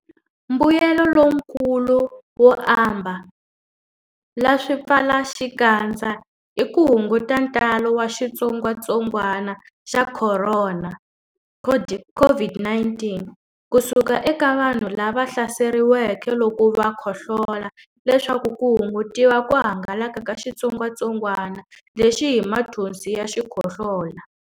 Mbuyelo lonkulu wo ambala swipfalaxikandza i ku hunguta ntalo wa xitsongwantsongwana xa Khorona, COVID-19, ku suka eka vanhu lava hlaseriweke loko va khohlola leswaku ku hungutiwa ku hangalaka ka xitsongwantsongwana lexi hi mathonsi ya xikhohlola.